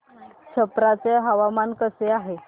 छप्रा चे हवामान कसे आहे